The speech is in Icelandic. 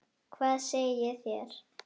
Hvað segið þér?